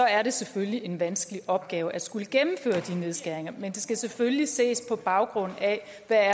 er det selvfølgelig en vanskelig opgave at skulle gennemføre de nedskæringer men det skal selvfølgelig ses på baggrund af